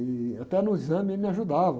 E até no exame ele me ajudava.